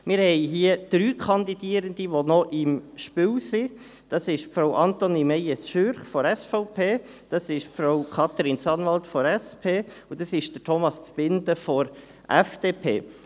Wir haben hier drei Kandidierende, die noch im Spiel sind: Frau Antonie Meyes Schürch von der SVP, Frau Katrin Sanwald von der SP und Herr Thomas Zbinden von der FDP.